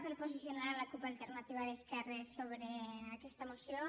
per posicionar la cup alternativa d’esquerres sobre aquesta moció